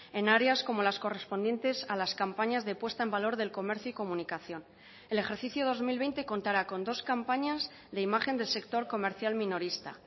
en áreas como las correspondientes a las campañas de puesta en valor del comercio y comunicación el ejercicio dos mil veinte contará con dos campañas de imagen del sector comercial minorista